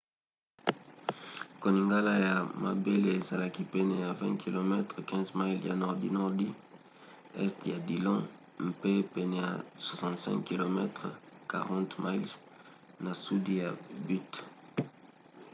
koningana ya mabele ezalaki pene ya 20 km 15 miles na nordi-nordi este ya dillon mpe pene ya 65 km 40 miles na sudi ya butte